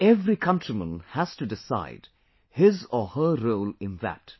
And every countryman has to decide his or her role in that